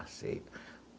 Aceito.